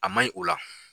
A ma ɲi o la